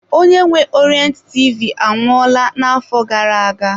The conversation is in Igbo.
Onye nwe Orient TV anwụọla na-afọ gara-aga.